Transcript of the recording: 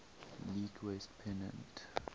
league west pennant